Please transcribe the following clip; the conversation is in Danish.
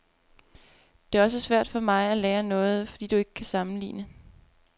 Det er også svært for mig at lære noget, fordi du ikke kan sammenligne.